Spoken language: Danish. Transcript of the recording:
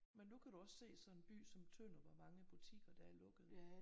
Men nu kan du også se sådan en by som Tønder hvor mange butikker der er lukket